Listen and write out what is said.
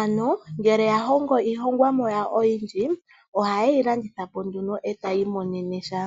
,ano ngele ya hongo iilonga yawo oyindji oha yeyi landithapo nduno e taya imonenemo sha